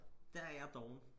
Der er jo doven